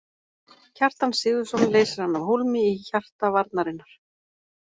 Kjartan Sigurðsson leysir hann af hólmi í hjarta varnarinnar.